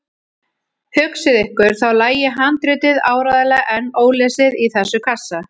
Hugsið ykkur, þá lægi handritið áreiðanlega enn ólesið í þessum kassa!